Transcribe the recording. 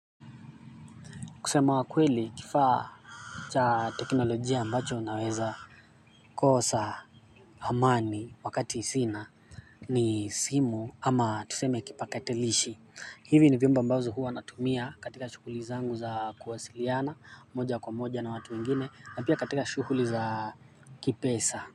Kusema kweli kifaa cha teknolojia ambacho naweza kosa amani wakati sina ni simu ama tuseme kipakatalishi. Hivi ni vyombo ambazo hua natumia katika shughuli zangu za kuwasiliana moja kwa moja na watu wengine na pia katika shughuli za kipesa.